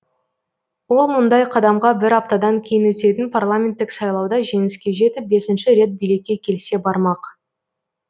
ол мұндай қадамға бір аптадан кейін өтетін парламенттік сайлауда жеңіске жетіп бесінші рет билікке келсе бармақ